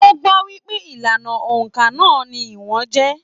O gbọ wípé ìlànà óńka náà ní ìwọ̀n jẹ.